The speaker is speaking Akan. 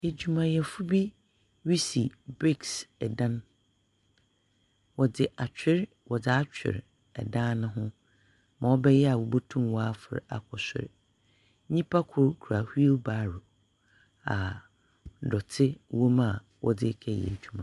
Edwumayɛfo bi resi bricks dan. Wɔdze atwer wɔdze atwer dan no ho ma ɔbɛyɛ a wobotum wɔafor akɔ sor. Nyimpa kor kura wheel barrow a dɔte wɔ mu a wɔdze rekɛyɛ edwuma.